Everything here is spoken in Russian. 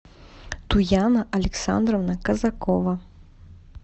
туяна александровна казакова